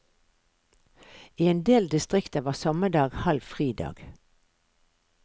I en del distrikter var sommerdag halv fridag.